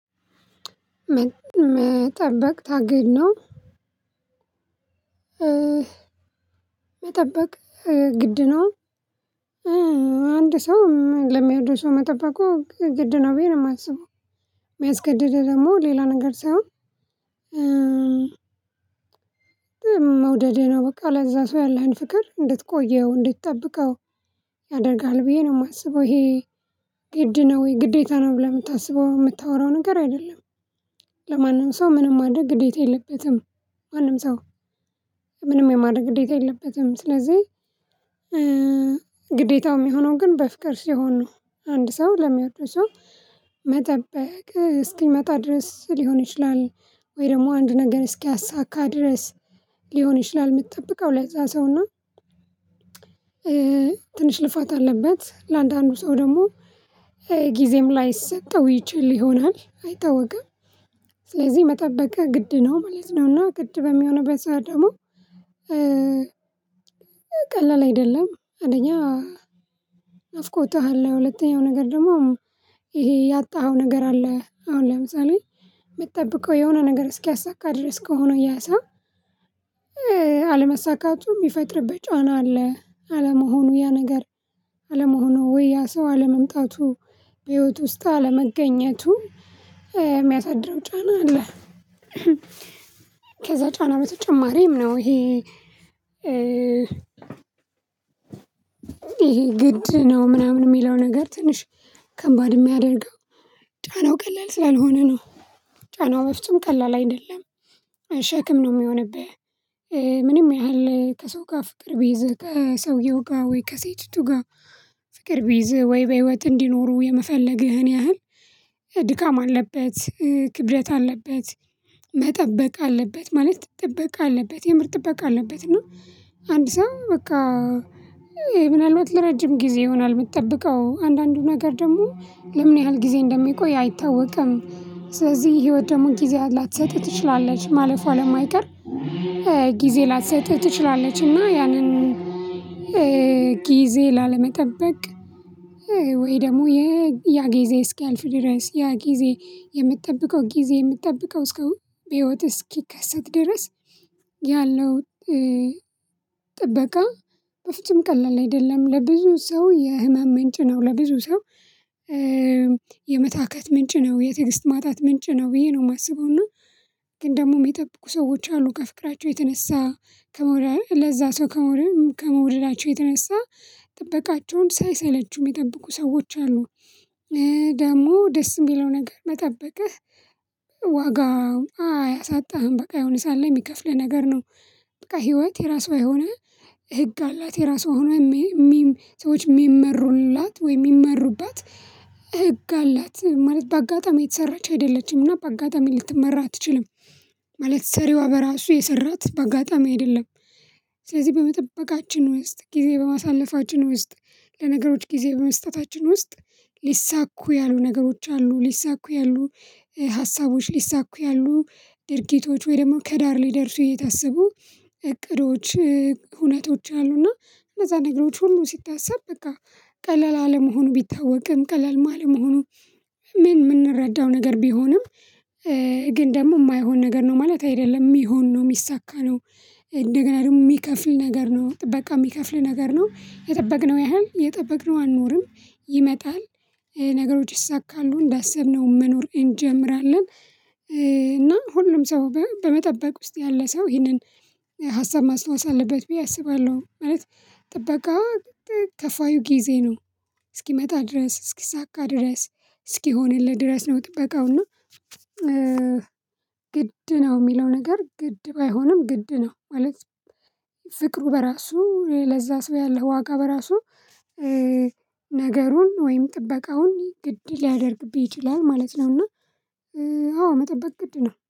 መጠበቅ ታግድ ነው። መጠበቅ ግድ ነው። አንድ ሰው ለሚያወደው ሰው መጠበቁ ግድ ነው ብዬ ነው ማስበው ሚያስገድደው ደግሞ ሌላ ነገር ሳይሆን። መውደህ ነው በቃ ለዛ ሰው ያለህን ፍቅር እንድትቆየው እንድትጠብቀው። ያደርጋል ብዬ ነው ማስበው ይሄ ግድ ነው ግዴታ ነው ብለህ ምታስበው ምታወራው ነገር አይደለም። ለማንም ሰው ምንም ማድረግ ግዴታ የለበትም። ማንም ሰው ምንም የማድረግ ግዴታ የለበትም። ስለዚህ ግዴታው ሚሆነው ግን በፍቅር ሲሆን ነው። አንድ ሰው ለሚወደው ሰው መጠበቅ እስኪመጣ ድረስ ሊሆን ይችላል። ወይ ደግሞ አንድ ነገር እስኪያሳካ ድረስ ሊሆን ይችላል። ምትጠብቀው ለዛ ሰውና። ትንሽ ልፋት አለበት ለአንዳንዱ ሰው ደግሞ ጊዜም ላይሰጠው ይችል ይሆናል አይታወቅም። ስለዚህ መጠበቅ ግድ ነው ማለት ነው። እና ግድ በሚሆንበት ሰዓት ደግሞ ቀላል አይደለም። አንደኛ ናፍቆትህ አለ ሁለተኛው ነገር ደግሞ ይሄ ያጣኸው ነገር አለ። አሁን ለምሳሌ ምትጠብቀው የሆነ ነገር እስኪያሳካ ድረስ ከሆነ ያ ሰው አለመሳካቱም ሚፈጥርበት ጫና አለ አለመሆኑ ያ ነገር አለመሆኑ ወይ ያ ሰው አለመምጣቱ በህይወት ውስጥ አለመገኘቱ የሚያሳድረው ጫና አለ። ከዛ ጫና በተጨማሪም ነው። ይሄ ግድ ነው ምናምን ሚለው ነገር ትንሽ ከባድ ሚያደርገው። ጫናው ቀላል ስላልሆነ ነው። ጫናው በፍጹም ቀላል አይደለም። ሸክም ነው ሚሆንብህ ምንም ያህል ከሰው ጋር ፍቅር ቢይዝህ ከሰውየው ጋር ወይ ከሴቲቱ ጋር ፍቅር ቢይዝህ ወይ በህይወት እንዲኖሩ የመፈለግህን ያህል ድካም አለበት ክብደት አለበት። መጠበቅ አለበት ማለት ጥበቃ አለበት የምር ጥበቃ አለበት እና አንድ ሰው በቃ። ምናልባት ለረጅም ጊዜ ይሆናል ምትጠብቀው አንዳንዱ ነገር ደግሞ ለምን ያህል ጊዜ እንደሚቆይ አይታወቅም። ስለዚህ ህይወት ደግሞ ጊዜዋን ላትሰጥህ ትችላለች ማለፏ ለማይቀር ጊዜ ላትሰጥህ ትችላለችና ያንን። ጊዜ ላለመጠበቅ ወይ ደግሞ የ ያ ጊዜ እስኪያልፍ ድረስ ያ ጊዜ የምትጠብቀው ጊዜ የምትጠብቀው እስከ በህይወት እስኪከሰት ድረስ። ያለው ጥበቃ በፍጹም ቀላል አይደለም ለብዙ ሰው የህመም ምንጭ ነው። ለብዙ ሰው የመታከት ምንጭ ነው። የትዕግስት ማጣት ምንጭ ነው ብዬ ነው ማስበው እና። ግን ደግሞ ሚጠብቁ ሰዎች አሉ ከፍቅራቸው የተነሳ ከመውደድ ለዛ ሰው ከመውደድ ከመውደዳቸው የተነሳ ጥበቃቸውን ሳይሰለቹ ሚጠብቁ ሰዎች አሉ። ደግሞ ደስ ሚለው ነገር መጠበቅህ ዋጋው አያሳጣህም በቃ የሆነ ሰዓት ላይ ሚከፍልህ ነገር ነው። በቃ ህይወት የራሷ የሆነ ህግ አላት። የራሷ የሆነ ሰዎች ሚመሩላት ወይ ሚመሩባት ህግ አላት። ማለት በአጋጣሚ የተሰራች አይደለችም እና በአጋጣሚ ልትመራ አትችልም። ማለት ሰሪዋ በራሱ የሰራት በአጋጣሚ አይደለም። ስለዚህ በመጠበቃችን ውስጥ ጊዜ በማሳለፋችን ውስጥ ለነገሮች ጊዜ በመስጠታችን ውስጥ ሊሳኩ ያሉ ነገሮች አሉ ሊሳኩ ያሉ ሀሳቦች ሊሳኩ ያሉ ድርጊቶች ወይ ደግሞ ከዳር ሊደርሱ የታሰቡ እቅዶች እውነቶች አሉና። እነዛ ነገሮች ሁሉ ሲታሰብ በቃ ቀላል አለመሆኑ ቢታወቅም ቀላል አለመሆኑ። ምን ምንረዳው ነገር ቢሆንም ግን ደግሞ ማይሆን ነገር ነው ማለት አይደለም ሚሆን ነው ሚሳካ ነው። እንደገና ደግሞ ሚከፍል ነገር ነው ጥበቃ ሚከፍል ነገር ነው የጠበቅነው ያህል የጠበቅነው አንኖርም ይመጣል። ነገሮች ይሳካሉ እንዳሰብነው መኖር እንጀምራለን። እና ሁሉም ሰው በመጠበቅ ውስጥ ያለ ሰው ይሄንን ሀሳብ ማስታወስ አለበት ብዬ አስባለሁ ማለት። ጥበቃ ከፋዩ ጊዜ ነው። እስኪመጣ ድረስ እስኪሳካ ድረስ እስኪሆንልህ ድረስ ነው ጥበቃው እና ግድ ነው ሚለው ነገር ግድ ባይሆንም ግድ ነው ማለት። ፍቅሩ በራሱ ለዛ ሰው ያለው ዋጋ በራሱ ነገሩን ወይም ጥበቃውን ግድ ሊያደርግብህ ይችላል ማለት ነውና። አዎ መጠበቅ ግድ ነው